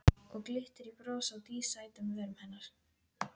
Og glittir í bros á dísæt um vörum hennar.